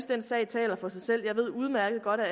den sag taler for sig selv jeg ved udmærket godt at